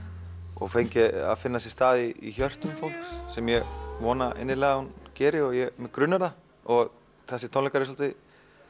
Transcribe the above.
og fengi að finna sér stað í hjörtum fólks sem ég vona innilega að hún geri og mig grunar það og þessir tónleikar eru svolítið